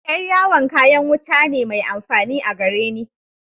Yar'yawon kayan wuta ne mai amfani a gareni.